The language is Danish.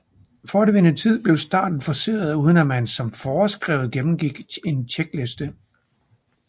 For at vinde tid blev starten forceret uden at man som foreskrevet gennemgik en checkliste